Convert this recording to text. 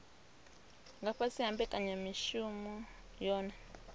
nga fhasi ha mbekanyamushumo yohe